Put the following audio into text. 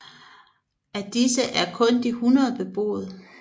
Af disse er kun de 100 beboet